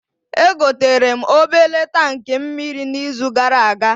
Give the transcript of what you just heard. Egoterem obele tankị mmiri n'izu gara aga